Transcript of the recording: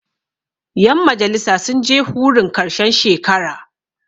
yanmajalisa sun je hurun karshen shekara